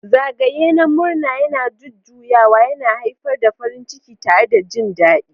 Zagaye na murna yana jujjuyawa, yana haifar da farin ciki tare da jin daɗi.